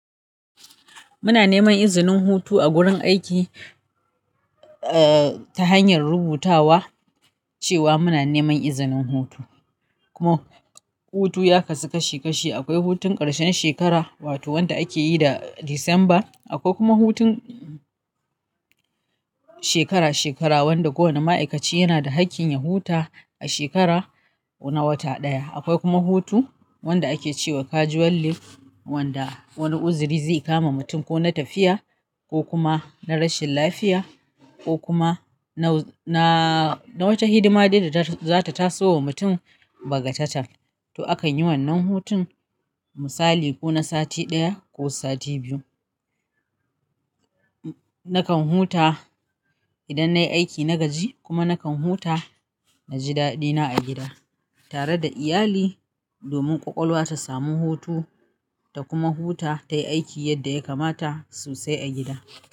Muna neman izinin hutu a wurin aiki ta hanyar rubutawa cewa muna neman izinin hutu. Kuma hutu ya kasu kashi kashi, akwai hutun ƙarshen shekara wato wanda ake yi da Disamba, akwai kuma hutun shekara-shekara wanda kowane ma'aikaci yana da hakkin ya huta a shekara na wata ɗaya. Akwai kuma hutu wanda ake ce wa casual leave wanda wani uziri zai kama mutum ko na tafiya ko kuma na rashin lafiya ko kuma na wata hidima ɗaya da za ta taso wa mutum ba ga tatan. To akan yi wannan hutun misali ko na sati ɗaya ko sati biyu. Nakan huta idan nayi aiki na gaji kuma nakan huta na ji daɗi na a gida tare da iyali domin ƙwaƙwalwa ta sami hutu ta kuma huta tayi aiki yadda ya kamata sosai a gida.